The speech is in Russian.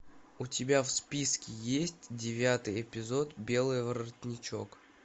у тебя в списке есть девятый эпизод белый воротничок